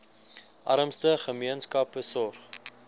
armste gemeenskappe sorg